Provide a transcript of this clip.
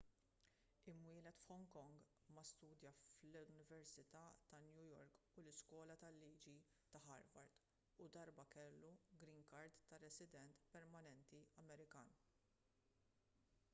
imwieled f'hong kong ma studja fl-università ta' new york u l-iskola tal-liġi ta' harvard u darba kellu green card ta' resident permanenti amerikan